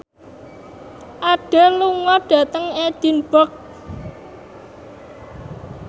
Adele lunga dhateng Edinburgh